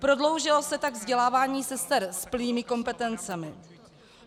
Prodloužilo se tak vzdělávání sester s plnými kompetencemi.